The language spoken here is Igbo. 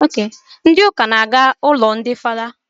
Ndi uka na-gara m ụlọ ndị fada